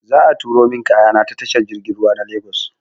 Za a turo min kayana ta tashar jirgin ruwa na Lagos.